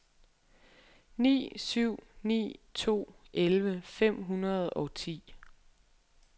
ni syv ni to elleve fem hundrede og ti